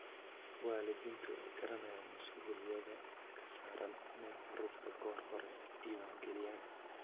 Waalidiintu way garanayaan mas'uuliyadda ka saaran inay carruurta goor hore diwaangeliyaan.